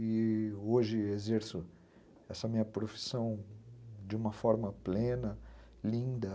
E hoje exerço essa minha profissão de uma forma plena, linda.